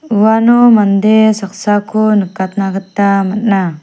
uano mande saksako nikatna gita man·a.